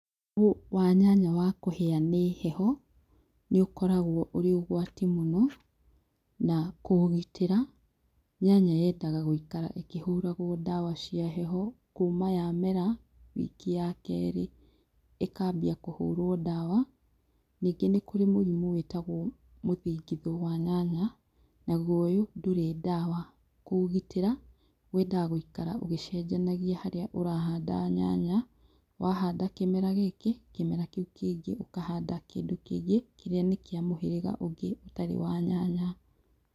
Mũrimũ wa nyanya wa kũhĩa nĩ heho, nĩ ũkoragwo ũrĩ ũgwati mũno, na kũũgitĩra, nyanya yendaga gũikara ĩkĩhũragwo dawa cia heho, kuma yamera, wiki ya kerĩ, ĩkambia kũhũrwo dawa. Ningĩ nĩ kũrĩ mũrimũ wĩtagwo mũthingithũ wa nyanya, naguo ũyũ ndũrĩ dawa, kũũgitĩra, wendaga gũikara ũgĩcenjania harĩa urahanda nyanya, wahanda kĩmera gĩkĩ, kĩmera kĩu kĩngĩ ũkahanda kĩndũ kĩngĩ, kĩrĩa nĩ kĩa mũhĩrĩga ũngĩ ũtarĩ wa nyanya.